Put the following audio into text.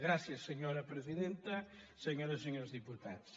gràcies senyora presidenta senyores i senyors diputats